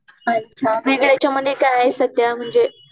अच्छा वेगळंच्या मध्ये काय सध्या म्हणजे?